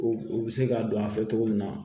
U u bɛ se k'a don a fɛ cogo min na